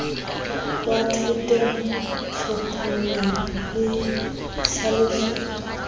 wa thoteng tlhophollo le tlhaloso